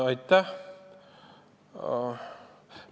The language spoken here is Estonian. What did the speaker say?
Aitäh!